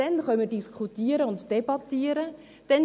Dann werden wir diskutieren und debattieren können.